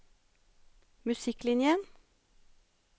musikklinjen